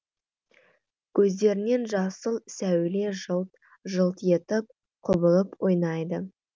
көздерінен жасыл сәуле жылт жылт етіп құбылып ойнайды